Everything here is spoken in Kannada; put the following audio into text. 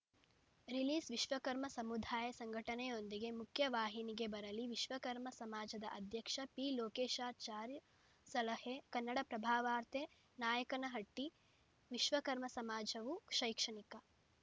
ರಿಲೀಸ್‌ವಿಶ್ವಕರ್ಮ ಸಮುದಾಯ ಸಂಘಟನೆಯೊಂದಿಗೆ ಮುಖ್ಯವಾಹಿನಿಗೆ ಬರಲಿ ವಿಶ್ವಕರ್ಮ ಸಮಾಜದ ಅಧ್ಯಕ್ಷ ಪಿ ಲೋಕೇಶಾಚಾರ್‌ ಸಲಹೆ ಕನ್ನಡಪ್ರಭವಾರ್ತೆ ನಾಯಕನಹಟ್ಟಿ ವಿಶ್ವಕರ್ಮ ಸಮಾಜವು ಶೈಕ್ಷಣಿಕ